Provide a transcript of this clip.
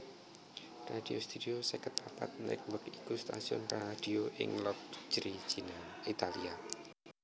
Radio Studio seket papat Network iku stasiun radio ing Locri Italia